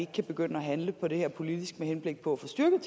kan begynde at handle på det her politisk med henblik på at få styrket